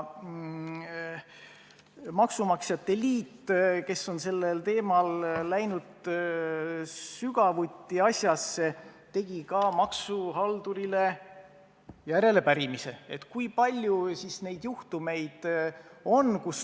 Maksumaksjate liit, kes on sellesse teemasse sügavuti sisse läinud, tegi ka maksuhaldurile järelepärimise, kui palju siis neid juhtumeid on.